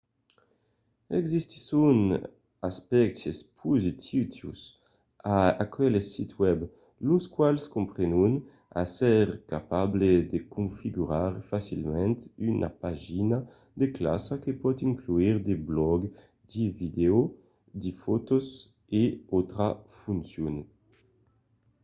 existisson d'aspèctes positius a aqueles sits webs los quals comprenon èsser capable de configurar facilament una pagina de classa que pòt inclure de blògs de vidèos de fòtos e d'autras foncions